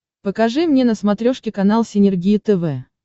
покажи мне на смотрешке канал синергия тв